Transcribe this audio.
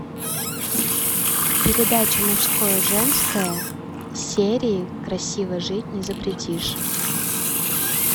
передача мужское женское серии красиво жить не запретишь